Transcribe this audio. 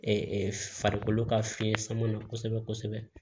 farikolo ka fiɲɛ sama na kosɛbɛ kosɛbɛ